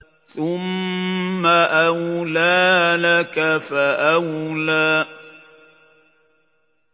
ثُمَّ أَوْلَىٰ لَكَ فَأَوْلَىٰ